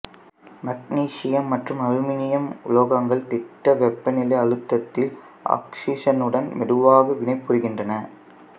magnesium மற்றும் அலுமினியம் உலோகங்கள் திட்ட வெப்பநிலை அழுத்தத்தில் ஆக்சிசனுடன் மெதுவாக வினைபுரிகின்றன